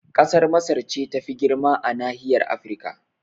Kasar Masar ce tafi girma a nahiyar Afrika